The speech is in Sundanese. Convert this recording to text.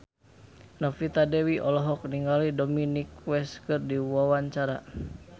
Novita Dewi olohok ningali Dominic West keur diwawancara